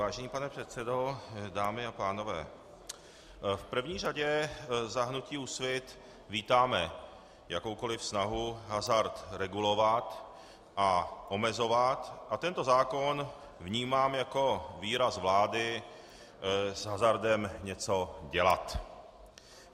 Vážený pane předsedo, dámy a pánové, v první řadě za hnutí Úsvit vítáme jakoukoli snahu hazard regulovat a omezovat a tento zákon vnímám jako výraz vlády s hazardem něco dělat.